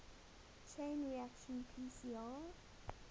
chain reaction pcr